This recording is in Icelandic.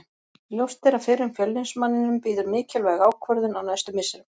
Ljóst er að fyrrum Fjölnismanninum bíður mikilvæg ákvörðun á næstu misserum.